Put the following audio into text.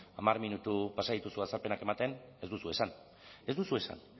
hamar minutu pasa dituzu azalpenak ematen ez duzu esan ez duzu esan